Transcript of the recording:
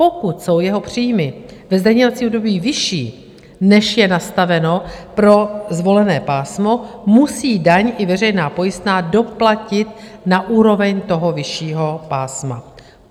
Pokud jsou jeho příjmy ve zdaňovacím období vyšší, než je nastaveno pro zvolené pásmo, musí daň i veřejná pojistná doplatit na úroveň toho vyššího pásma.